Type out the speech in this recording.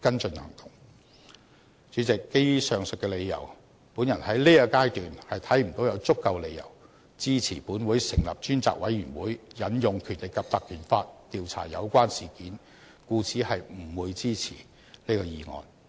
主席，基於上述理由，我在現階段看不到有足夠理由支持本會成立專責委員會引用《條例》調查有關事件，故此不會支持這議案。